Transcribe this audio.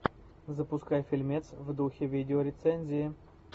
запускай фильмец в духе видеорецензии